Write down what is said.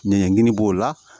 Ɲɛgɛn b'o la